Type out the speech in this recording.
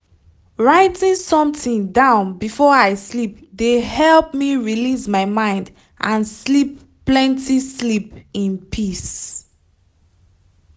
writing something down before i sleep de help me release my mind and sleep plenty sleep in peace.